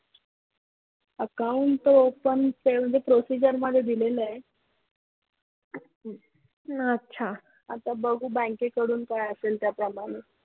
Account तर open ते म्हणजे procedure मध्ये दिलेल आहे आता बघू बँके कडून काय असेल त्या प्रमाणे.